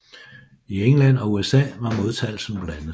I England og USA var modtagelsen blandet